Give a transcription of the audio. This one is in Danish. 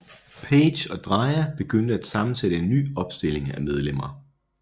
Page og Dreja begyndte at sammensætte en ny opstilling af medlemmer